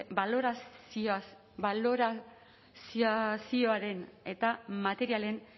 balorizazioaren eta materialen